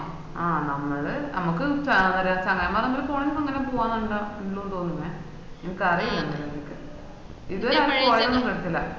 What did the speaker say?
ആഹ് നമ്മള് നമ്മക്ക് പോവന്നതല്ലെന്ന പോവാണെന്നാണല്ലൊ ഉണ്ടന്നതോനുന്നെയ എനക്ക് അറീല ഇത് പോവാനൊന്നും പറ്റൂല